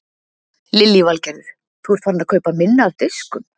Lillý Valgerður: Þú ert farinn að kaupa minna af diskum?